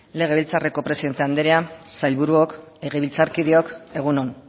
legebiltzarreko presidente andrea sailburuok legebiltzarkideok egun on